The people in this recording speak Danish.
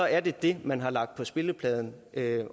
er det man har lagt på spillepladen